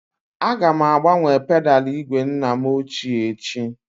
Aga m agbanwe pedalụ igwe nna m ochie echi